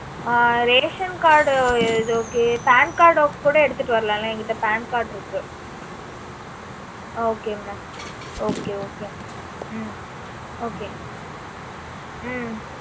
ஆஹ் ration card அது. okay pan card கூட எடுத்துட்டு வரலாமில்ல. என்கிட்ட pan card இருக்கு. ஹம் okay mamokay okay mam ஹம் okay ஹம்